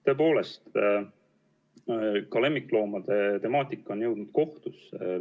Tõepoolest, ka lemmikloomade temaatika on jõudnud kohtusse.